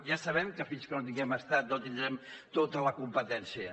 ja sabem que fins que no tinguem estat no tindrem tota la competència